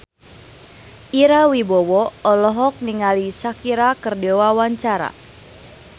Ira Wibowo olohok ningali Shakira keur diwawancara